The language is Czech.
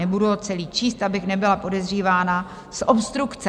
Nebudu ho celý číst, abych nebyla podezřívána z obstrukce.